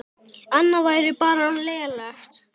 Annað væri bara lélegt.